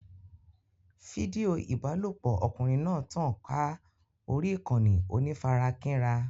Fídíò ìbálòpọ̀ ọkùnrin náà tàn ká orí ìkànnì onífarakínra.